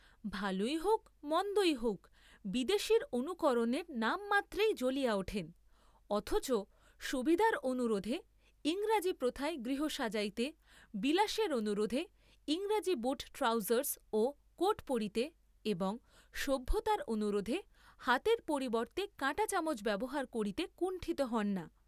ভালই হৌক মন্দই হৌক বিদেশীয় অনুকরণের নামমাত্রেই জ্বলিয়া উঠেন, অথচ সুবিধার অনুরােধে ইংরাজী প্রথায় গৃহ সাজাইতে, বিলাসের অনুরােধে ইংরাজী বুট ট্রাউজার্‌স্ ও কোট পরিতে এবং সভ্যতার অনুরোধে হাতের পরিবর্ত্তে কাঁটা চামচ ব্যবহার করিতে কুণ্ঠিত হন না।